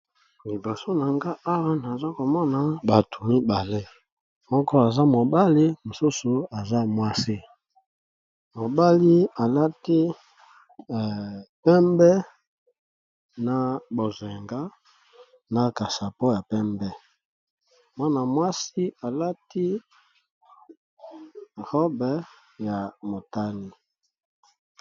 Liboso na ngai awa nazali komona batu mibale, ndeko moko ya muasi, na mobali